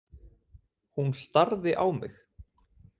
Hún starði á mig.